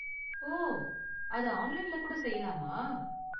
ஓ, அதை ஆன்லைன்ல கூட செய்யலாமா?